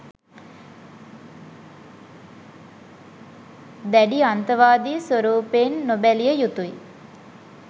දැඩි අන්තවාදි ස්වරූපයෙන් නොබැලිය යුතුයි